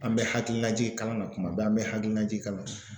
An bɛ hakilina ji kalan na kuma bɛɛ an bɛ hakilina ji kalan